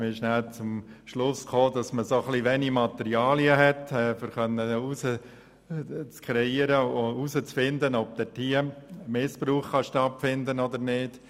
Wir kamen zum Schluss, dass zu wenige Materialien vorliegen, die man hätte verwenden können, um herauszufinden, ob ein Missbrauch stattfinden kann oder nicht.